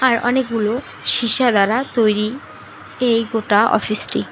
আর অনেকগুলো শীশা দ্বারা তৈরি এই গোটা অফিসটি।